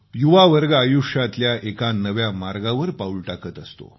युवावर्ग आयुष्यातल्या एका नव्या मार्गावर पाऊल टाकत असतो